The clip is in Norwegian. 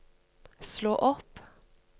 slå opp